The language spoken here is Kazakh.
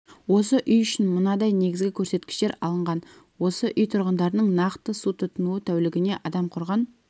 осы үй үшін мынадай негізгі көрсеткіштер алынған осы үй тұрғындарының нақты су тұтынуы тәулігіне адам құрған